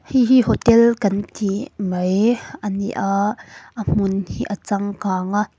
hei hi hotel kan tih mai a ni a a hmun hi a changkang a.